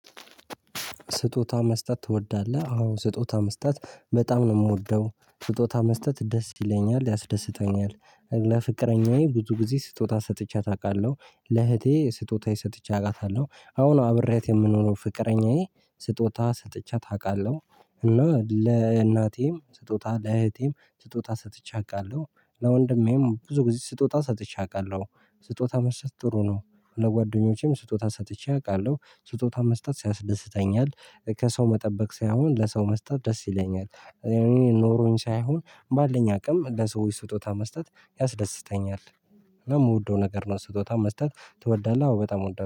ስጦታ መስጠት ትወዳለህ? አዎ ስጦታ መስጠት በጣም ነው የምወደው ስጦታ መስጠት ደስ ይለኛል ያስደስተኛል። ለፍቅረኛዬ ብዙ ጊዜ ስጦታ ሰጥቼያት አቃለሁ። ለእህቴ ስጦታ ሰጥቼ አውቃለሁ አሁን አብሬያት የምኖረው ፍቅረኛዬ። ስጦታ ሰጥቼያት አውቃለሁ። እና ለእናቴም ስጦታ ለእህቴም ስጦታ ሰጥቼ አውቃለሁ። ለወንድሜም ብዙ ጊዜ ስጦታ ሰጥቼ አውቃለሁ። ስጦታ መስጠት ጥሩ ነው። ለጓደኞቼም ስጦታ ሰጥቼ አውቃለሁ ስጦታ መስጠት ያስደስተኛል። ከሰው መጠበቅ ሳይሆን ለሰው መስጠት ደስ ይለኛል። ኖሮኝ ሳይሆን ባለኝ አቅም ለሰዎች ስጦታ መስጠት ያስደስተኛል። እና የምወደው ነገር ነው ስጦታ መስጠት? ትወዳለህ አዎ በጣም ወዳለሁ